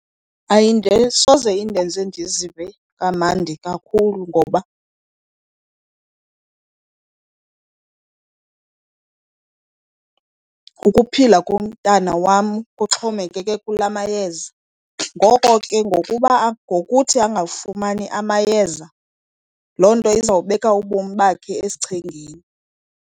Soze indenze ndizive kamandi kakhulu ngoba ukuphila komntana wam kuxhomekeke kulaa mayeza. Ngoko ke ngokuba , ngokuthi angafumani amayeza loo nto izawubeka ubomi bakhe esichengeni.